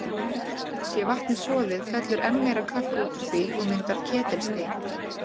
Sé vatnið soðið, fellur enn meira kalk út úr því og myndar ketilstein.